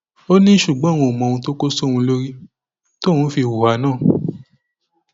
ó ní ṣùgbọn òun kò mọ ohun tó kó sóhun lórí tóun fi hùwà náà